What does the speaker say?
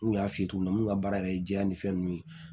N kun y'a f'i ye cogo min ka baara yɛrɛ ye jɛya ni fɛn nunnu ye